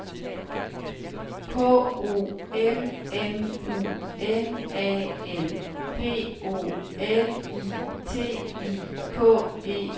K O M M U N A L P O L I T I K E R